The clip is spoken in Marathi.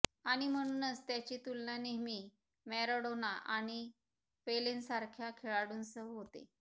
आणि म्हणूनच त्याची तुलना नेहमी मॅराडोना आणि पेलेंसारख्या खेळाडूंसह होते